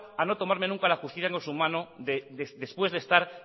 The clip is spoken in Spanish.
a no tomarme nunca la justicia con su mano después de estar